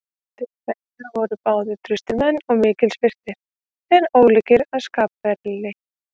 Þeir bræður voru báðir traustir menn og mikils virtir, en ólíkir að skapferli.